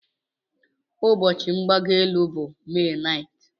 Ụbọchị igbago elu bụ May 9th